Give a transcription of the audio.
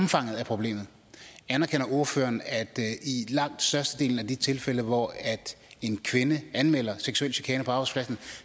omfanget af problemet anerkender ordføreren at i langt størstedelen af de tilfælde hvor en kvinde anmelder seksuel chikane på arbejdspladsen